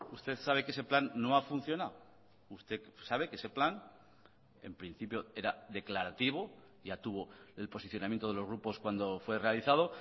usted sabe que ese plan no ha funcionado usted sabe que ese plan en principio era declarativo ya tuvo el posicionamiento de los grupos cuando fue realizado